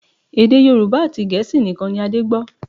Èdè Yorùbá àti Gẹ̀ẹ́sì nìkan ni Adé gbọ́